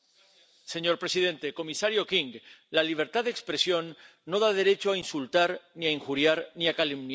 Señor presidente, comisario King, la libertad de expresión no da derecho a insultar, ni a injuriar, ni a calumniar.